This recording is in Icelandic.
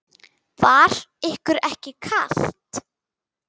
Var ykkur ekki kalt?